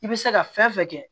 I bɛ se ka fɛn fɛn kɛ